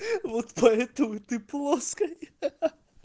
вот поэтому ты плоская ха-ха